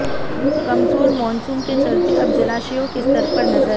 कमजोर मॉनसून के चलते अब जलाशयों के स्तर पर नजर